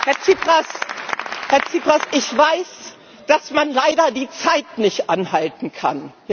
Herr Tsipras, ich weiß, dass man leider die Zeit nicht anhalten kann.